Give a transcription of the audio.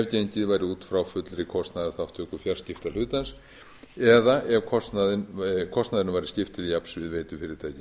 gengið væri út frá fullri kostnaðarþátttöku fjarskiptahlutans eða ef kostnaðinum væri skipt til jafns við veitufyrirtæki